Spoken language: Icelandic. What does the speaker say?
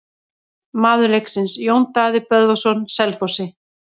Maður leiksins: Jón Daði Böðvarsson Selfossi.